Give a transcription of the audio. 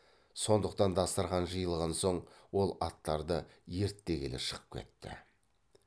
сондықтан дастарқан жиылған соң ол аттарды ерттегелі шығып кетті